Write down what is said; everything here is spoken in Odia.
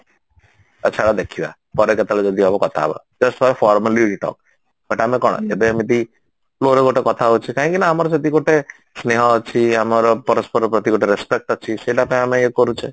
ଆଛା ଦେଖିବା ପରେ କେତେବେଳେ ଯଦି ହବ କଥା ହବା that's what formally we talk but ଆମେ କଣ ଏବେ ଏମିତି flow ରେ ଗୋଟେ କଥା ହଉଛେ କାହିଁକି ନା ଆମର ସେତିକି ଗୋଟେ ସ୍ନେହ ଅଛି ଆମର ପରସ୍ପର ପ୍ରତି ଗୋଟେ respect ଅଛି ସେଇଟା ପାଇଁ ଆମେ ଇଏ କରୁଛେ